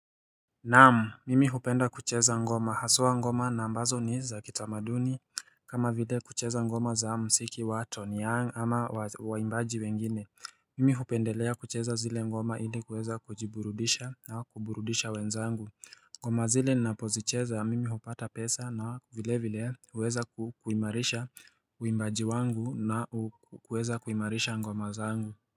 Naam mimi hupenda kucheza ngoma haswa ngoma na ambazo ni za kitamaduni kama vile kucheza ngoma za msiki wato ni ya ama waimbaji wengine Mimi hupendelea kucheza zile ngoma ili kuweza kujiburudisha na kuburudisha wenzangu ngoma zile napozicheza mimi hupata pesa na vile vile uweza kuimarisha uimbaji wangu na uweza kuimarisha ngoma zangu.